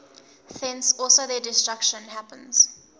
thence also their destruction happens